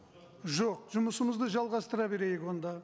жоқ жұмысымызды жалғастыра берейік онда